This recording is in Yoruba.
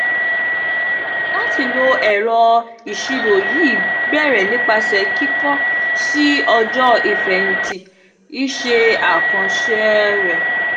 lati lo ẹrọ iṣiro yii bẹrẹ nipasẹ kikọ sii ọjọ ifẹhinti iṣẹ akanṣe rẹ.